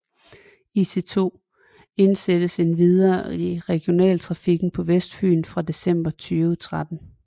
IC2 indsattes endvidere i regionaltrafikken på Vestfyn fra december 2013